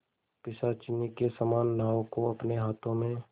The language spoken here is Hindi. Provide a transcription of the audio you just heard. पिशाचिनी के समान नाव को अपने हाथों में